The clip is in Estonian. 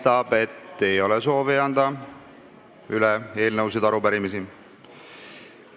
Paistab, et ei ole soovi anda üle eelnõusid ega arupärimisi.